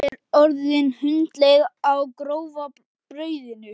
Ég er orðin hundleið á grófa brauðinu!